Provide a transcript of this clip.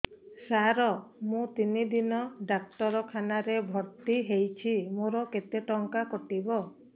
ସାର ମୁ ତିନି ଦିନ ଡାକ୍ତରଖାନା ରେ ଭର୍ତି ହେଇଛି ମୋର କେତେ ଟଙ୍କା କଟିବ